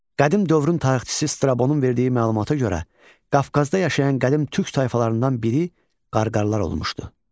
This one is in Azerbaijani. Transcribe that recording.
Qədim dövrün tarixçisi Strabonun verdiyi məlumata görə, Qafqazda yaşayan qədim türk tayfalarından biri Qarqarlar olmuşdu.